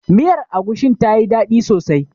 Miyar agushin tayi daɗi sosai.